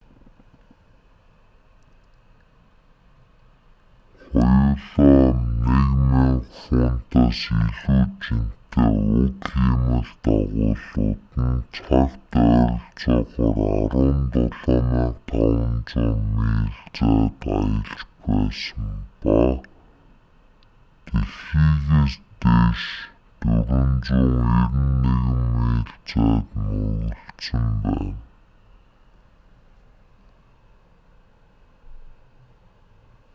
хоёулаа 1,000 фунтаас илүү жинтэй уг хиймэл дагуулууд нь цагт ойролцоогоор 17,500 миль зайд аялж байсан ба дэлхийгээс дээш 491 миль зайд мөргөлдсөн байна